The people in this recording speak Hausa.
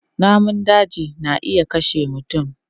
Namun daji na iya kashe mutum.